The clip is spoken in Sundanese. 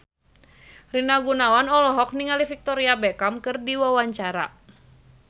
Rina Gunawan olohok ningali Victoria Beckham keur diwawancara